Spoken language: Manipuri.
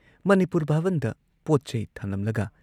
ꯃꯅꯤꯄꯨꯔ ꯚꯥꯕꯟꯗ ꯄꯣꯠ ꯆꯩ ꯊꯅꯝꯂꯒ